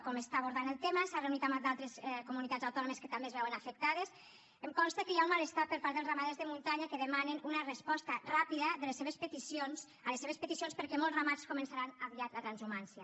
com està abordant el tema s’ha reunit amb d’altres comunitats que també es veuen afectades em consta que hi ha un malestar per part dels ramaders de muntanya que demanen una resposta ràpida a les seves peticions perquè molts ramats començaran aviat la transhumància